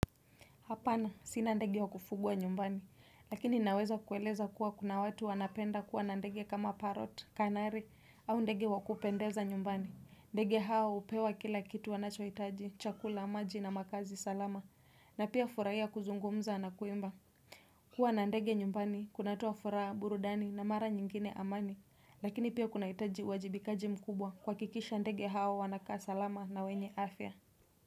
Hapana, sinandege wakufugwa nyumbani, lakini naweza kueleza kuwa kuna watu wanapenda kuwa nandege kama parot, kanari, au ndege wakupendeza nyumbani. Ndege hao upewa kila kitu wanachoitaji, chakula, maji na makazi salama, na pia furaia kuzungumza na kuimba. Kua nandege nyumbani, kunat9a furaha, burudani na mara nyingine amani, lakini pia kunaitaji wajibikaji mkubwa kwa kikisha ndege hao wanakaa salama na wenye afya.